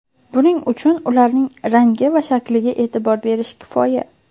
Buning uchun ularning rangi va shakliga e’tibor berish kifoya.